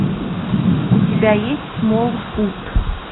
у тебя есть смолфут